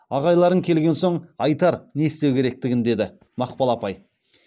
ағайларың келген соң айтар не істеу керектігін деді мақпал апай